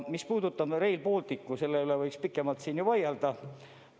Mis puudutab Rail Balticut, siis selle üle võiks pikemalt vaielda.